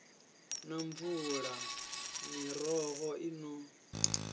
na mvula miroho i no